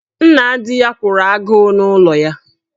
Nna di ya kwụrụ agụụ n'ụlọ ya.